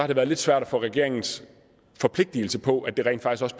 det været lidt svært at få regeringens forpligtelse på at det rent faktisk